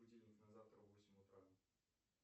будильник на завтра в восемь утра